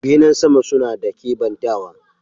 Benen sama suna ba da kebantawa.